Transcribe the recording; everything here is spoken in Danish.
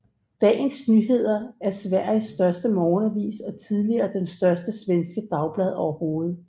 Dagens Nyheter er Sveriges største morgenavis og tidligere det største svenske dagblad overhovedet